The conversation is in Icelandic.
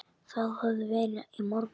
Það hafði verið í morgun.